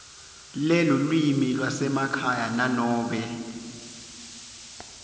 lelulwimi lwasekhaya nanobe